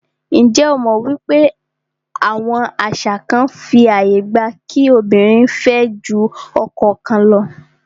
Njé o mọ̀ wípé àwọn àṣà kán fí ààyè gba kí obìnrin fẹ́ jù ọkọ kan lọ?